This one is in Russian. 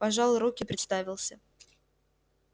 пожал руки представился